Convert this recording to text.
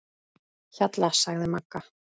Hjalla, sagði Magga.